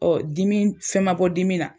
dimi fɛn ma bɔ dimi na.